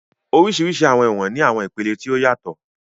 Oríṣiríṣi àwọn ẹ̀wọ̀n ní àwọn ìpele tí ó yàtọ̀